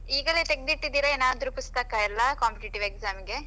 ಈಗಲೇ ತೆಗ್ದ್ ಇಟ್ಟಿದೀರಾ ಏನಾದ್ರು ಪುಸ್ತಕ ಎಲ್ಲ competitive exam ಗೆ.